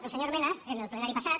el senyor mena en el plenari passat